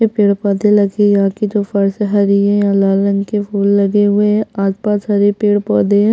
ये पेड़-पौधे लगी हैं यहाँ की जो फर्स हरी हैं यहाँ लाल रंग के फूल लगे हुए हैं आसपास हरे पेड़-पौधे हैं।